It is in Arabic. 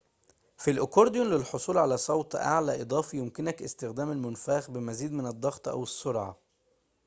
في الأكورديون للحصول على صوت أعلى إضافي يمكنك استخدام المنفاخ بمزيد من الضغط أو السرعة